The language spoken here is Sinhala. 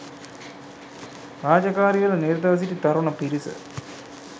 රාජකාරිවල නිරතව සිටි තරුණ පිරිස